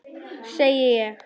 Segi ég.